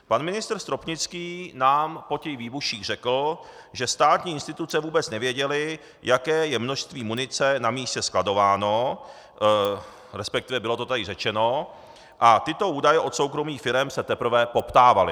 Pan ministr Stropnický nám po těch výbuších řekl, že státní instituce vůbec nevěděly, jaké je množství munice na místě skladováno, respektive bylo to tady řečeno a tyto údaje od soukromých firem se teprve poptávaly.